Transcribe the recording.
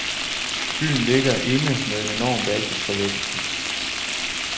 Byen ligger inde med en enorm basis for vækst.